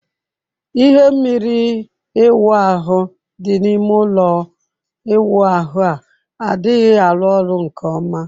Ihe mmiri ịwu ahụ dị n'ime ụlọ ịwụ ahu a adịghị alu olu nke ọma